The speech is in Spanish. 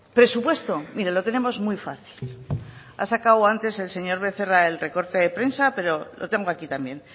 presupuesto mire lo tenemos muy fácil ha sacado antes el señor becerra el recorte de prensa pero lo tengo aquí también